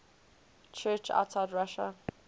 church outside russia